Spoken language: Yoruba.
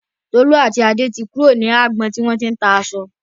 Tolú àti Adé ti kúrò ní agbọn tí wọ́n ti ń ta aṣọ.